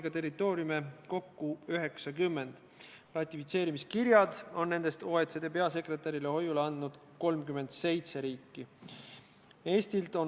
Kas see lohutab või abistab kuidagi Tallinnast rongile pandud last, kes hilinenult Tartusse jõudes avastab, et viimane buss Alatskivile on juba väljunud ning öö tuleb pääle?